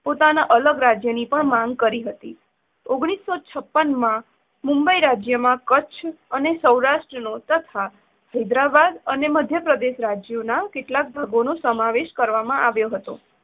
પોતાના અલગ રાજ્યની પણ માંગ કરી હતી. ઓગણીસો છપ્પન માં મુંબઇ રાજ્યમાં કચ્છ અને સૌરાષ્ટ્ર નો, તથા હૈદરાબાદ અને મધ્ય પ્રદેશ રાજ્યોના કેટલાક ભાગોનો સમાવેશ કરવામાં આવ્યો હતો.